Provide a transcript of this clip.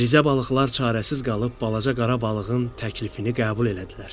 Rizə balıqlar çarəsiz qalıb balaca qara balığın təklifini qəbul elədilər.